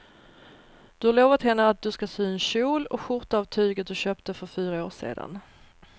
Du har lovat henne att du ska sy en kjol och skjorta av tyget du köpte för fyra år sedan.